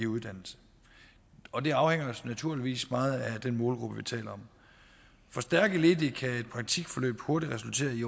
uddannelse og det afhænger naturligvis meget af den målgruppe vi taler om for stærke ledige kan et praktikforløb hurtigt resultere i